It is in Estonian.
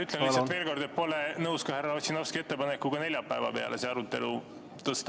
Ütlen lihtsalt veel kord, et pole nõus ka härra Ossinovski ettepanekuga see arutelu neljapäeva peale tõsta.